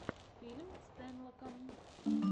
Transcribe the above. фильм стэнлока